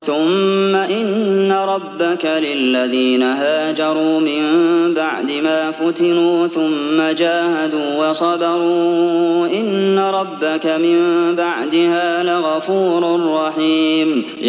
ثُمَّ إِنَّ رَبَّكَ لِلَّذِينَ هَاجَرُوا مِن بَعْدِ مَا فُتِنُوا ثُمَّ جَاهَدُوا وَصَبَرُوا إِنَّ رَبَّكَ مِن بَعْدِهَا لَغَفُورٌ رَّحِيمٌ